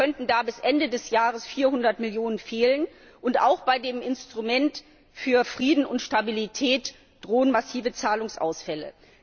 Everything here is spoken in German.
Es könnten da bis Ende des Jahres 400Millionen fehlen. Auch bei dem Instrument für Frieden und Stabilität drohen massive Zahlungsausfälle.